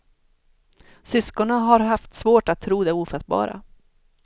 Syskonen har haft svårt att tro det ofattbara.